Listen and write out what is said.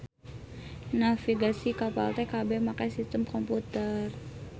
Navigasi kapal teh kabeh make sistem komputer.